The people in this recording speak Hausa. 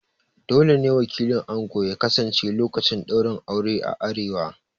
Dole ne wakilin ango ya kasance lokacin ɗaurin aure a arewa